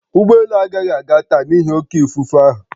Ụgbọ elu agaghị aga taa n'ihi oké ifufe ahụ